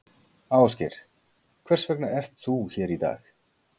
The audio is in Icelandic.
Ásgeir: Hvers vegna ert þú hér í dag?